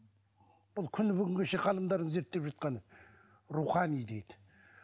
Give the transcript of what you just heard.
бұл күні бүгінге шейін ғалымдардың зерттеп жатқаны рухани дейді